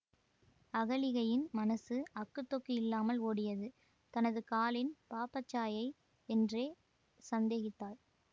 அகலிகையின் மனசு அக்குத்தொக்கு இல்லாமல் ஓடியது தனது காலின் பாப்பச் சாயை என்றே சந்தேகித்தாள்